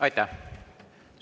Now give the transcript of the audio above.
Aitäh!